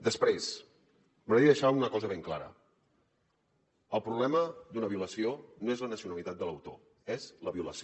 després m’agradaria deixar una cosa ben clara el problema d’una violació no és la nacionalitat de l’autor és la violació